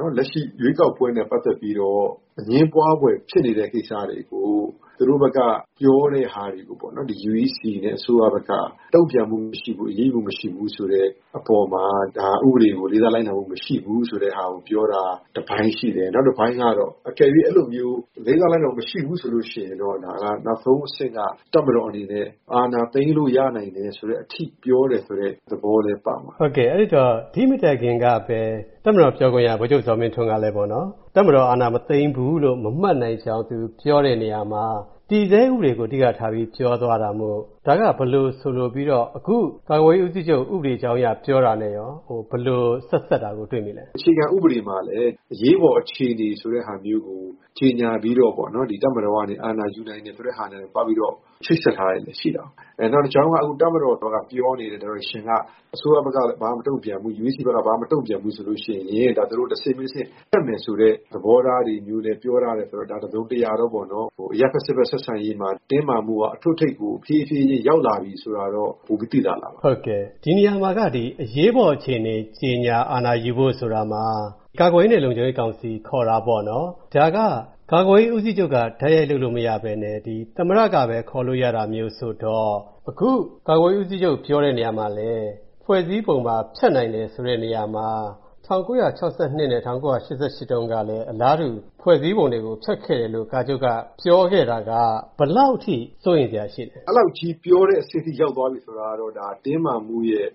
နော် လက်ရှိ ရွေးကောက်ပွဲနဲ့ ပတ်သက်ပြီးတော့ အငြင်းပွားဖွယ်ဖြစ်နေတဲ့ ကိစ္စတွေကို သူတို့ဘက်က ပြောတဲ့ဟာမျိုးပေါ့နော် UEC ပြည်ထောင်စုရွေးကောက်ပွဲကော်မရှင် နဲ့ အစိုးရဘက်က တုံ့ပြန်မှုမရှိဘူး၊ အရေးယူမှုမရှိဘူးဆိုတဲ့ အပေါ်မှာ ဒါဥပဒေကို လေးစားလိုက်နာမှု မရှိဘူးဆိုတာကိုပြောတာ တပိုင်းရှိတယ်။ နောက်တပိုင်းကတော့ အကယ်၍ အဲလိုမျိုး လေးစားလိုက်နာမှု မရှိဘူးဆိုရင် ဒါက နောက်ဆုံးအဆင့်က တပ်မတော်အနေနဲ့ အာဏာသိမ်းလို့ရနိုင်တယ်ဆိုတဲ့အထိ ပြောတယ်ဆိုတဲ့ သဘောလည်း ပါပါတယ်။ ကိုဝင်းမင်း။ ။ အဲဒီတော့ ဒီမတိုင်ခင်ကပဲ တပ်မတော်ပြောခွင့်ရ ဗိုလ်ချုပ်ဇော်မင်းထွန်းကလည်းပေါ့နော် ၊ တပ်မတော်အာဏာမသိမ်းဘူးလို့ မမှတ်နိုင်ကြောင်း သူပြောတဲ့နေရာမှာ တည်ဆဲဥပဒေကို အဓိကထားပြီးပြောသွားတာမို့ ဒါက ဘယ်လိုဆိုလိုပြီးတော့ အခု ကာကွယ်ရေးဦးစီးချုပ် ဥပဒေကြောင်းအရ ပြောတာနဲ့ရော ဘယ်လို ဆက်စပ်တာကို တွေ့နေရသလဲ။ ဒေါက်တာမင်းဇော်ဦး။ ။အခြေခံဥပဒေမှာလည်း အရေးပေါ်အခြေအနေဆိုတာမျိုးကို ကြေညာပြီးတော့ တပ်မတော်ကနေ အာဏာယူနိုင်တယ်ဆိုတဲ့ဟာနဲ့ သွားပြီးတော့ ချိတ်ဆက်ထားတာလည်း ရှိတာကို ။ နောက်တကြောင်းက တပ်မတော်ဘက်က ပြောနေတဲ့ Direction က အစိုးရဘက်က ဘာမှ မတုံ့ပြန်ဘူး ၊ UEC ဘာမှ မတုံ့ပြန်ဘူးဆိုရင် ဒါက သူတို့ တဆင့်ပြီးတဆင့် တက်မယ်ဆိုတဲ့ သဘောထားတွေမျိုးလည်း ပြောထားတယ်ဆိုတော့ ဒါက တစုံတရာ ၊ အရပ်ဘက် စစ်ဘက် ဆက်ဆံရေးမှာ တင်းမာမှုက တစုံတရာရောက်လာပြီဆိုတာက ပိုပြီး သိသာလာပါတယ်။ ကိုဝင်းမင်း။ ။ ဟုတ်ကဲ့ ဒီနေရာမှာက အရေးပေါ်အခြေအနေ ကြေညာ အာဏာယူဖို့ဆိုတာမှာ ကာကွယ်ရေးနဲ့ လုံခြုံရေးကောင်စီ ခေါ်တာပေါ့နော် ၊ ဒါက ကာကွယ်ရေးဦးစီးချုပ်က တိုက်ရိုက်လုပ်လို့မရပဲနဲ့ သမ္မတကပဲ ခေါ်လို့ရတာမျိုး ဆိုတော့ အခု ကာကွယ်ရေးဦးစီးချုပ်ပြောတဲ့နေရာမှာ ဖွဲ့စည်းပုံ ဖျက်နိုင်တယ် ဆိုတဲ့နေရာမှာ ၁၉၆၂ နဲ့ ၁၉၈၈ တုန်းကလည်း အလားတူ ဖွဲ့စည်းပုံတွေကို ဖျက်ခဲ့တယ်လို့ ကာချုပ်က ပြောခဲ့တာက ဘယ်လောက်အထိ စိုးရိမ်စရာရှိသလဲ။ ဒေါက်တာမင်းဇော်ဦး။ ။အဲလောက်ကြီး ပြောတဲ့အဆင့်အထိ ရောက်သွားပြီဆိုတာကတော့ ဒါက တင်းမာမှုရဲ့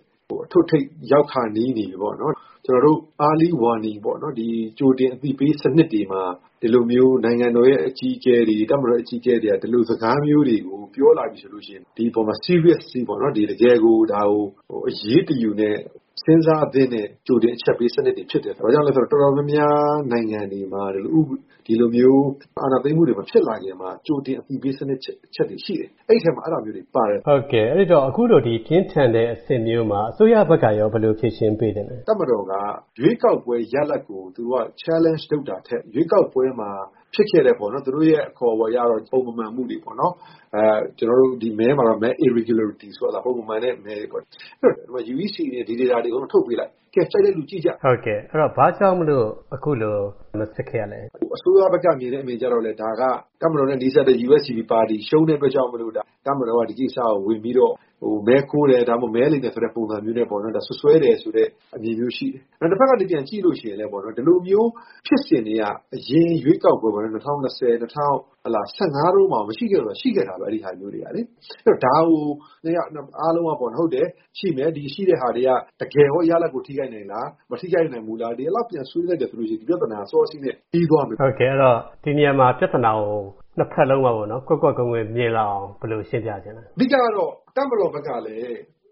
အထွတ်အထိပ်ရောက်ခါနီးနေပြီပေါ့နော် ။ ကျနော်တို့ Early warning ပေါ့နော် ကြိုတင်အသိပေးစနစ်တွေမှာ နိုင်ငံတော်ရဲ့ အကြီးအကဲတွေ၊ တပ်မတော် အကြီးအကဲတွေက ဒီလိုစကားမျိုးကို ပြောလာပြီဆိုရင် ဒီအပေါ်မှာ Seriously ပေါ့နော် ။ တကယ်ကို ဒါကို အရေးတယူနဲ့ စဉ်းစားသင့်တဲ့ ကြိုတင်အချက်ပေးစနစ်တွေဖြစ်ပါတယ်။ ဘာကြောင့်လဲဆိုတော့ တော်တော်များများ နိုင်ငံတွေမှာ အခု ဒီလိုမျိုး အာဏာသိမ်းမှုတွေ မဖြစ်လာခင်မှာ ကြိုတင်အသိပေး စနစ်တွေ အချက်တွေရှိတယ်။ အဲဒီထဲမှာ အဲဒါမျိုးတွေပါတယ်။ ကိုဝင်းမင်း။ ။ ဟုတ်ကဲ့ အခုလို ပြင်းထန်တဲ့အဆင့်မျိုးမှာ အစိုးရဘက်ကရော ဘယ်လို ဖြေရှင်းပေးသင့်သလဲ။ ဒေါက်တာမင်းဇော်ဦး။ ။တပ်မတော်က ရွေးကောက်ပွဲ ရလဒ်ကို Challenge လုပ်တာထက်၊ ရွေးကောက်ပွဲမှာ ဖြစ်ခဲ့တဲ့ ပုံမမှန်မှုတွေပေါ့နော် ၊ ကျနော်တို့ မဲ Irregularity ဆိုတာ ပုံမမှန်တဲ့ မဲတွေပေါ့နော် ။ အဲဒီတော့ UEC အနေနဲ့ ဒီ Data တွေအကုန်လုံး ထုတ်ပေးလိုက် ၊ ကြိုက်တဲ့သူ ကြည့်ကြ။ ကိုဝင်းမင်း။ ။ ဟုတ်ကဲ့ ဘာကြောင့်မို့လို့ အခုလို မဖြစ်ခဲ့ရတာလဲ။ ဒေါက္တာမင်းဇော်ဦး။ ။အစိုးရဘက်က မြင်တဲ့အမြင်ကလည်း ဒါက တပ်မတော်နဲ့ နီးစပ်တဲ့ USDP ပါတီ ရှုံးတဲ့အတွက် တပ်မတော်က ဒီကိစ္စကို ဝင်ပြီးတော့ မဲခိုးတယ်၊ မဲလိမ်တယ်ဆိုတဲ့ ပုံစံမျိုး နဲ့ စွပ်စွဲတယ်ဆိုတဲ့ အမြင်မျိုးရှိတယ်။ တဖက်ကနေ ပြန်ကြည့်ရင်တော့ ဒီလိုမျိုးဖြစ်စဉ်တွေက အရင်ရွေးကောက်ပွဲ ၊ ၂၀၁၀-၂၀၁၅ တုန်းက မရှိခဲ့ဘူးလားဆိုတော့ ရှိခဲ့တာပဲ ဒါမျိုးတွေကလေ။ အဲဒီတော့ ဒါကိုအားလုံးက ဟုတ်တယ်၊ ဒါရှိမယ်။ ရှိတဲ့ဟာတွေက တကယ်ရော ရလဒ်ကို ထိခိုက်နိုင်သလား ၊ မထိခိုက်နိုင်ဘူးလား ဆိုပြီးတော့ပြန်ဆွေးနွေးလိုက်တယ်ဆိုရင် ဒီပြဿနာတွေက စောစောစီးစီးနဲ့ ပြီးသွားမယ်။ ကိုဝင်းမင်း။ ။ ဟုတ်ကဲ့ ဒီနေရာမှာ ပြဿနာကို ၂ ဖက်လုံးက ကွက်ကွက်ကွင်းကွင်းမြင်လာအောင် ဘယ်လို ရှင်းပြချင်သလဲ။ ဒေါက်တာမင်းဇော်ဦး။ ။အဓိကတော့ တပ်မတော်ဘက်ကလည်း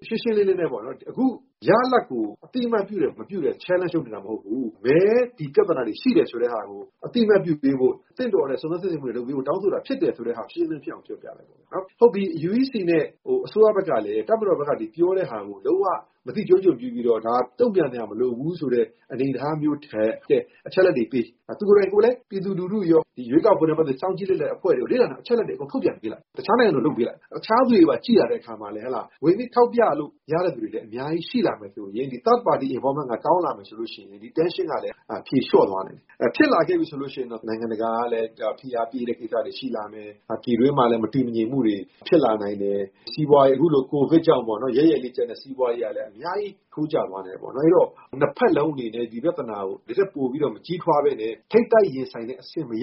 ရှင်းရှင်းလင်းလင်းနဲ့ပေါ့နော် ၊ အခု ရလဒ်ကို အသိအမှတ်ပြုတယ်၊ မပြုဘူး ဆိုတာ challenge လုပ်နေတာမဟုတ်ဘူး။ မဲ ဒီ ပြဿနာတွေ ရှိတယ်ဆိုတာကို အသိအမှတ်ပြုပေးဖို့၊ သင့်တော်တဲ့ စုံစမ်းစစ်ဆေးမှုတွေ လုပ်ပေးဖို့ တောင်းဆိုတာဖြစ်တယ်ဆိုတာကို ရှင်းရှင်းလင်းလင်းပြောပြလိုက်ပေါ့ ။ ဟုတ်ပြီ UEC နဲ့ အစိုးရဘက်ကလည်း တပ်မတော်ဘက်က ပြောတာကို လုံးဝ မသိကျိုးကျွန်ပြုပြီးတော့ ဒါကို တုံ့ပြန်စရာမလိုဘူးဆိုတဲ့ အနေအထားမျိုးထက်၊ အချက်အလက်တွေပေး ၊ သူကိုယ်တိုင်လည်း ပြည်သူလူထုရော ၊ ဒီရွေးကောက်ပွဲနဲ့ ပတ်သက်ပြီး စောင့်ကြည့်လေ့လာတဲ့နေတဲ့ အဖွဲ့တွေကို အချက်အလက်တွေအားလုံး ထုတ်ပြန်ပေးလိုက်၊ တခြားနိုင်ငံလို လုပ်ပေးလိုက်။ တခြားသူတွေကြည့်လာတဲ့အခါမှာလည်း ဝင်ပြီးထောက်ပြလို့ ရတဲ့သူတွေလည်း အများကြီးရှိလာမယ်ဆိုရင် ဒီ Third party involvement က ကောင်းလာမယ်ဆိုရင် ဒီ Tension ကလည်း ဖြေလျော့သွားနိုင်တယ်။ ဖြစ်လာခဲ့ပြီဆိုရင်တော့ နိုင်ငံတကာကလည်း ဖိအားပေးတဲ့ ကိစ္စတွေရှိလာနိုင်တယ်၊ ပြည်တွင်းမှာလည်း မတည်မငြိမ်မှုတွေ ဖြစ်လာနိုင်တယ်၊ စီးပွားရေး အခုလို COVID ကြောင့်ပေါ့နော် ယဲ့ယဲ့လေးကျန်တဲ့ စီးပွားရေးကလည်း အများကြီးထိုးကျသွားနိုင်တယ်။ အဲဒီတော့ ၂ ဖက်လုံးအနေနဲ့ ဒီပြဿနာကို ဒီထက်ပိုပြီးတော့ မကြီးထွားပဲနဲ့ ထိပ်တိုက်ရင်ဆိုင်တဲ့အဆင့်အထိ မရ